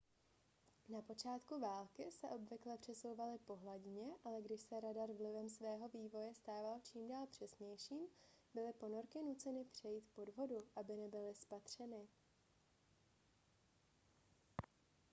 na počátku války se obvykle přesouvaly po hladině ale když se radar vlivem svého vývoje stával čím dál přesnějším byly ponorky nuceny přejít pod vodu aby nebyly spatřeny